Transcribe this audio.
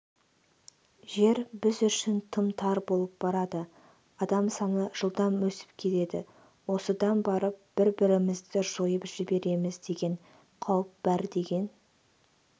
жер біз үшін тым тар болып барады адам саны жылдам өсіп келеді осыдан барып бір-бірімізді жойып жібереміз деген қауіп бар деген